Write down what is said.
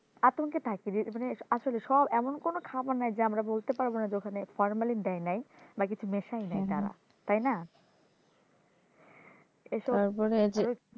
আতঙ্কে থাকি যে মানে আসলে সব এমন কোন খাবার নাই যে আমরা বলতে পারব না যে ওখানে formalin দেয় নাই বা কিছু নেশাই নাই তারা তাই না এসব